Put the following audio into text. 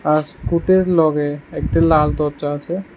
আর স্কুটের লগে একটি লাল দরজা আছে।